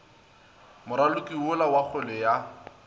moraloki yola wa kgwele ya